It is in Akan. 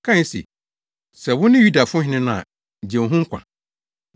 kae se, “Sɛ wone Yudafo hene no a gye wo ho nkwa.”